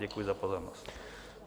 Děkuji za pozornost.